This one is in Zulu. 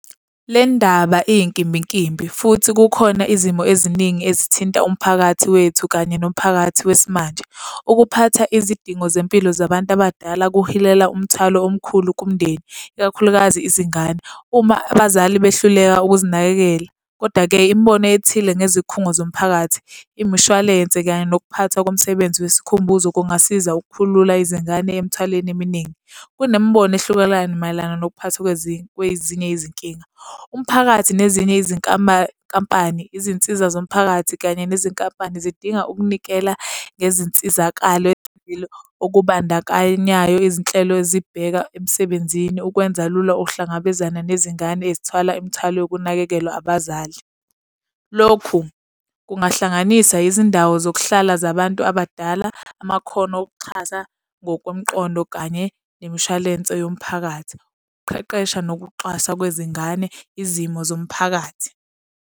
Le ndaba iyinkimbinkimbi futhi kukhona izimo eziningi ezithinta umphakathi wethu kanye nomphakathi wesimanje. Ukuphatha izidingo zempilo zabantu abadala kuhilela umthwalo omkhulu kumndeni, ikakhulukazi izingane, uma abazali behluleka ukuzinakekela. Kodwa-ke imibono ethile ngezikhungo zomphakathi, imishwalense kanye nokuphathwa komsebenzi wesikhumbuzo kungasiza ukukhulula izingane emithwaleni eminingi. Kunemibono ehlukelana mayelana nokuphathwa kwezinye, kwezinye izinkinga, umphakathi nezinye izinkampani, izinsiza zomphakathi kanye nezinkampani zidinga ukunikela ngezinsizakalo ezithile okubandakanyayo izinhlelo ezibheka emsebenzini, ukwenza lula ukuhlangabezana nezingane ezithwala imithwalo yokunakekelwa abazali. Lokhu kungahlanganisa izindawo zokuhlala zabantu abadala, amakhono okuxhasa ngokomqondo kanye nemishwalense yomphakathi, ukuqeqesha nokuxwasa kwezingane, izimo zomphakathi.